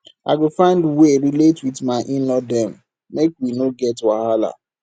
i go find wey relate wit my in law dem make we no get wahala